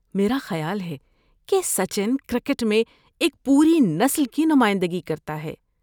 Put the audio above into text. میرا خیال ہے کہ سچن کرکٹ میں ایک پوری نسل کی نمائندگی کرتا ہے۔